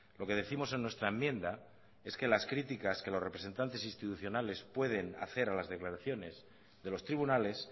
lo que décimos en nuestra enmienda es que las críticas que los representantes institucionales pueden hacer a las declaraciones de los tribunales